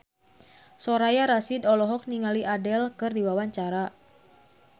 Soraya Rasyid olohok ningali Adele keur diwawancara